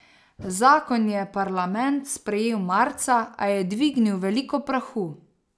Zakon je parlament sprejel marca, a je dvignil veliko prahu.